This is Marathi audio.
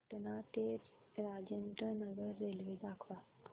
पटणा ते राजेंद्र नगर रेल्वे दाखवा